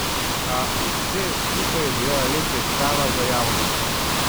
A vse skupaj je bila le predstava za javnost.